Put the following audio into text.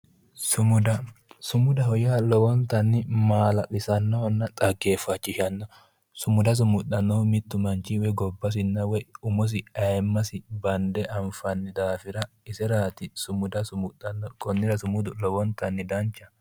Sumuda sumudaho yaa lowontanni maala'lisannohonna xaggeefachishannoho sumuda sumuxxannohu mittu manchi woyi gobbasinna woyi umosi ayeemmasi bande anfanni daafira iseraati sumuda sumuxxannohu konnira sumudu lowontanni danchaho